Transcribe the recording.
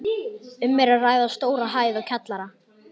Um er að ræða stóra hæð og kjallara.